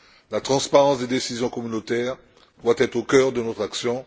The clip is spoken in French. La transparence des décisions communautaires doit être au cœur de notre action.